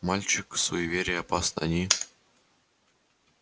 мальчик суеверия опасны они